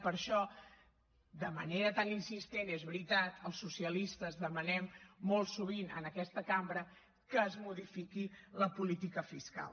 per això de manera tan insistent és veritat els socialistes demanem molt sovint en aquesta cambra que es modifiqui la política fiscal